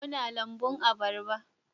Muna lambun abarba